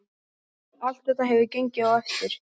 Allt þetta hefur gengið eftir.